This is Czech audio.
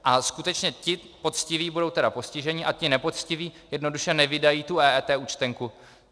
A skutečně ti poctiví budou teda postiženi a ti nepoctiví jednoduše nevydají tu EET účtenku.